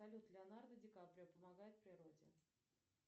салют леонардо ди каприо помогает природе